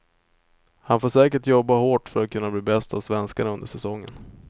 Han får säkert jobba hårt för att kunna bli bäst av svenskarna under säsongen.